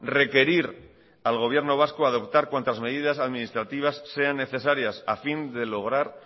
requerir al gobierno vasco a adoptar cuantas medidas administrativas sean necesarias a fin de lograr